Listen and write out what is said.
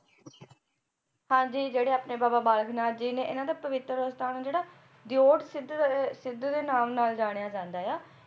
ਹਾਂਜੀ ਜਿਹੜੇ ਆਪਣੇ ਬਾਬਾ ਬਾਲਕ ਨਾਥ ਜੀ ਨੇ ਇਹਨਾਂ ਦਾ ਪਵਿੱਤਰ ਅਸਥਾਨ ਜਿਹੜਾ ਦਿਉਟ ਸਿਧ ਦੇ ਸਿੱਧ ਦੇ ਨਾਮ ਨਾਲ ਜਾਣਿਆ ਜਾਂਦਾ ਆ